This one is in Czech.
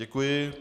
Děkuji.